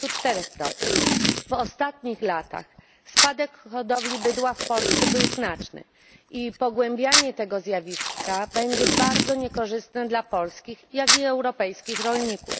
24. W ostatnich latach spadek hodowli bydła w Polsce był znaczny i pogłębianie tego zjawiska będzie bardzo niekorzystne dla polskich, jak i europejskich rolników.